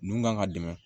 Nun kan ka dɛmɛ